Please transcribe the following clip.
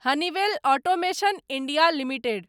Honeywell automation India limited